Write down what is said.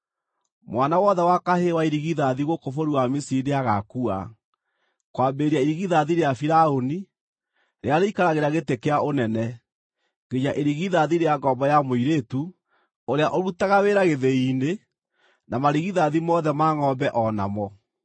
Mwana wothe wa kahĩĩ wa irigithathi gũkũ bũrũri wa Misiri nĩagaakua, kwambĩrĩria irigithathi rĩa Firaũni, rĩrĩa rĩikaragĩra gĩtĩ kĩa ũnene, nginya irigithathi rĩa ngombo ya mũirĩtu, ũrĩa ũrutaga wĩra gĩthĩi-inĩ, na marigithathi mothe ma ngʼombe o namo.